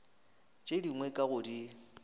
tše dingwe ka go di